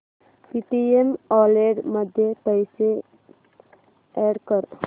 Paytm wallet मध्ये पैसे add कर